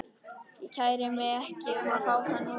Ég kæri mig ekki um að fá þá núna.